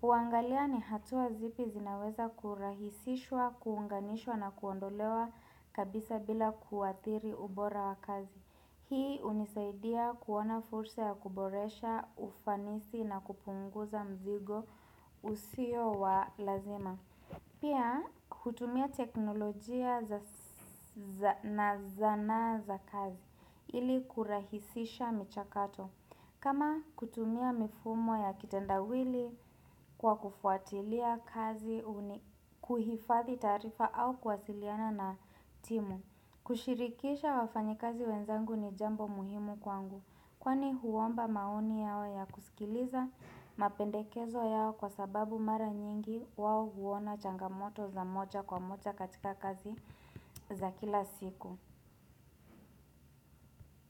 Kuangalia ni hatua zipi zinaweza kurahisishwa, kuunganishwa na kuondolewa kabisa bila kuathiri ubora wa kazi. Hii hunisaidia kuona fursa ya kuboresha ufanisi na kupunguza mzigo usio wa lazima. Pia, kutumia teknolojia na zanaa za kazi ili kurahisisha michakato. Kama kutumia mifumo ya kitendawili kwa kufuatilia kazi, kuhifathi taarifa au kwasiliana na timu. Kushirikisha wafanyikazi wenzangu ni jambo muhimu kwangu. Kwani huomba maoni yao ya kusikiliza mapendekezo yao kwa sababu mara nyingi wao huona changamoto za moja kwa moja katika kazi za kila siku.